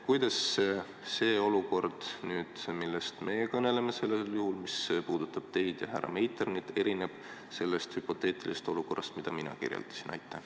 Kuidas see olukord, millest meie siin kõneleme – see, mis puudutab teid ja härra Meiternit –, erineb sellest hüpoteetilisest olukorrast, mida mina kirjeldasin?